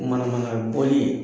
Manamana boli ye.